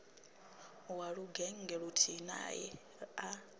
wa lugennge luthihi nae a